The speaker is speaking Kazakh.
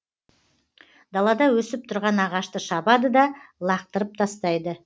далада өсіп тұрған ағашты шабады да лақытырып тастайды